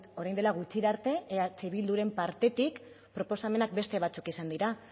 orain dela gutxira arte eh bilduren partetik proposamenak beste batzuk izan dira